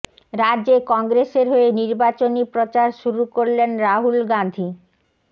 রাজ্যে কংগ্রেসের হয়ে নির্বাচনী প্রচার শুরু করলেন রাহুল গাঁধী